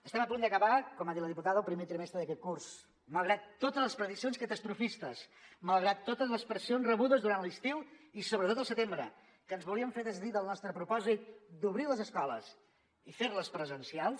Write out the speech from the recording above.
estem a punt d’acabar com ha dit la diputada el primer trimestre d’aquest curs malgrat totes les prediccions catastrofistes malgrat totes les pressions rebudes durant l’estiu i sobretot al setembre que ens volien fer desdir del nostre propòsit d’obrir les escoles i fer les presencials